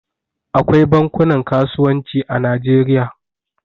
Akwai bankunan kasuwanci a Najeriya.